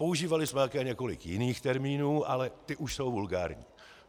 Používali jsme také několik jiných termínů, ale ty už jsou vulgární.